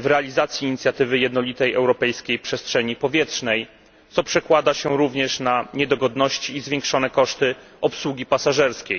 w realizację inicjatywy jednolitej europejskiej przestrzeni powietrznej, co przekłada się również na niedogodności i zwiększone koszty obsługi pasażerskiej.